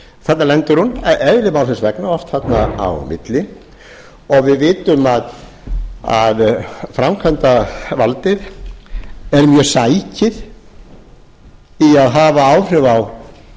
þarna lendir hún eðli málsins vegna oft þarna á milli og við vitum að framkvæmdarvaldið er mjög bakið í að hafa áhrif á